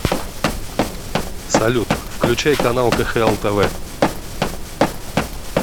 салют включай канал кхл тв